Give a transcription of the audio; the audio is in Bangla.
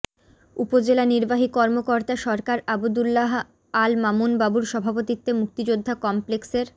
উপজেলা নির্বাহী কর্মকর্তা সরকার আবদুল্লাহ আল মামুন বাবুর সভাপতিত্বে মুক্তিযোদ্ধা কমপ্লেক্সের